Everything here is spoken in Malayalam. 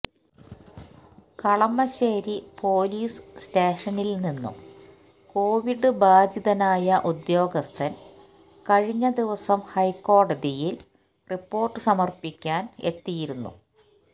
കളമശ്ശേരി പൊലീസ് സ്റ്റേഷനില് നിന്നും കൊവിഡ് ബാധിതനായ ഉദ്യോഗസ്ഥന് കഴിഞ്ഞ ദിവസം ഹൈക്കോടതിയില് റിപ്പോര്ട്ട് സമര്പ്പിക്കാന് എത്തിയിരുന്നു